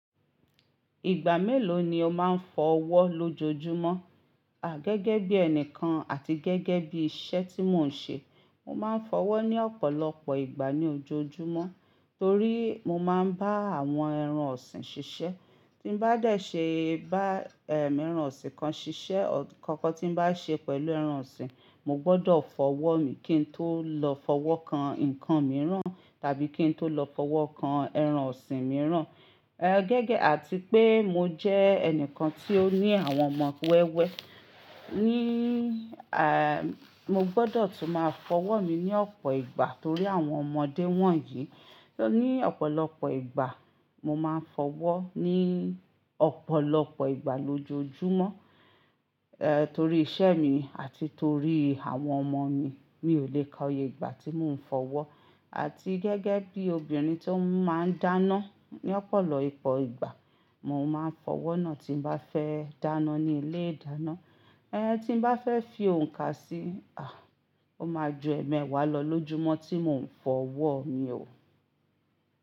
Ìgbà mélòó ni o máa ń fọ ọwọ́ lójoojúmọ́? À, gẹ́gẹ́ bí ẹni kan àti gẹ́gẹ́ bí iṣẹ́ tí mò ń ṣe, mo máa ń fọwọ́ ní ọ̀pọ̀lọpọ̀ ìgbà ní ojoojúmọ́. Torí mo máa ń bá àwọn ẹran ọ̀sìn ṣiṣẹ́. Tí n bá dẹ̀ ṣe bá ẹran ọ̀sìn kan ṣiṣẹ́, nǹkan kan tí n bá ṣe pẹ̀lú ẹran ọ̀sìn, mo gbọdọ̀ fọwọ́ mi kí n tó lọ fọwọ́ kan nǹkan mìíràn tàbí kí n tó lọ fọwọ́ kan ẹran ọ̀sìn mìíràn. Ẹ, gẹ́gẹ́ àti pé mo jẹ́ ẹni kan tí ó ní àwọn ọmọ wẹ́wẹ́, ní mo gbọdọ̀ tún máa fọwọ́ mi ní ọ̀pọ̀ ìgbà torí àwọn ọmọdé wọ̀nyí. Ni ọ̀pọ̀lọpọ̀ ìgbà, mo máa ń fọwọ́ ní ọ̀pọ̀lọpọ̀ ìgbà lójoojúmọ́, ẹ, torí iṣẹ́ mi àti torí àwọn ọmọ mi. Mi ò le ka oye ìgbà tí mò ń fọwọ́. Àti gẹ́gẹ́ bí obìnrin tó máa ń dáná, ní ọ̀pọ̀lọpọ̀ ìgbà mo máa ń fọwọ́ náà tí n bá fẹ́ dáná ní ilé-ìdáná. Ẹ, tí n bá fẹ́ fi òǹkà sí, à, ó máa ju ẹ̀ẹ̀mẹwàá lọ lójúmọ́ tí mò ń fọwọ́ mi o.